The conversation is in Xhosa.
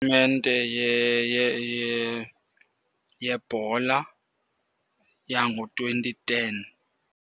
Tumente yebhola yango-twenty ten.